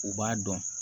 U b'a dɔn